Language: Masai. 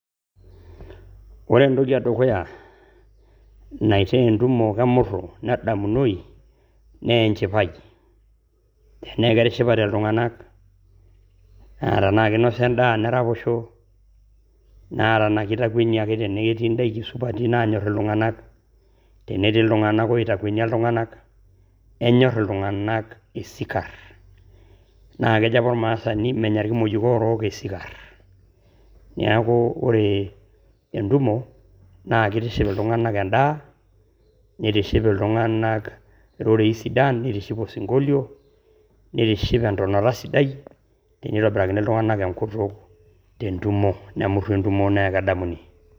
Ore entoki e dukuya naitaa entumo kemuru nedamunoyu naa enchipai, enee ketishipate iltung'anak naa tenaake inosa endaa neraposho, naa tenake itakueniaki tenetii indaiki supati naanyor iltung'anak, tenetii iltung'anak oitakuenia iltung'anak, enyor iltung'anak esikar. Naa kejo apa oramasani menya irkimojik oorok esikar. Neeku ore entumo naakeitiship iltung'anak endaa, nitiship iltung'anak irorei sidan, nitiship osing'olio, nitiship entonata sidai, tenitobirakini iltung'anak enkutuk te ntumo nemuru entumo nee edamuni.